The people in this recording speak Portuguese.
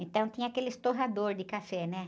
Então tinha aqueles torrador de café, né?